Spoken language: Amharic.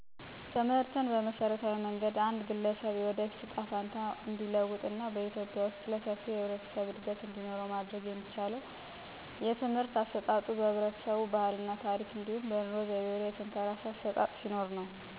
ትምህርትን በመሠረታዊ መንገድ አንድ ግለሰብ የወደፊት እጣ ፈንታ እንዲለወጥ እና በኢትዮጵያ ውስጥ ለሰፊው የህብረተሰብ እድገት እንዲኖረው ማድረግ የሚቻለው የትምህርት አሰጣጡ በህብረተሰቡ ባህል እና ታረክ እንዲሁም በኑሮ ዘይቤው ላይ የተንተራሰ አሠጣጥ ሲኖርነው። ሰው ትምህርት ሲቀበል በችሎታዎቹ ላይ የተጽናና እንዲሁም በወደፊት በሚፈልጉት ሙያ ላይ ሲሆን የለውጥ ዕድል ማግኘት ይችላል። በህብረተሰብ ደረጃ ግን፣ ትምህርት ሰፊ መድረክ ከሆነ የኢኮኖሚ እድገት፣ ጤና ጥራት እና ማህበረሰብ ሰላም ሊገነባ ይችላል። ማለት በትምህርት የተገነቡ ዕውቀትና ችሎታዎች ሰውን እንዲበረታና ህብረቱን እንዲያድጉ ያስችላሉ። እንዲሁም ቴክኖሎጂና ማህበራዊ ሚዲያ በመጠቀም ማሳደግ ይቻላል።